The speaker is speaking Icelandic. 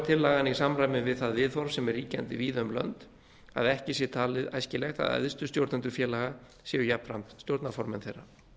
tillagan í samræmi við það viðhorf sem er ríkjandi víða um lönd að ekki sé talið æskilegt að æðstu stjórnendur félaga séu jafnframt stjórnarformenn þeirra